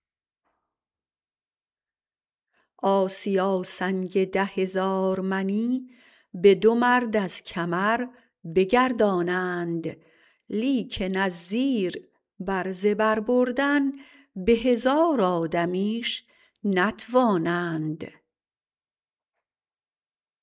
آسیا سنگ ده هزار منی به دور مرد از کمر بگردانند لیکن از زیر به زبر بردن به هزار آدمیش نتوانند